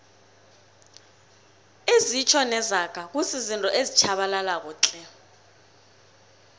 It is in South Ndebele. izitjho nezaga kuzizinto ezitjhabalalako tle